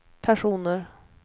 personer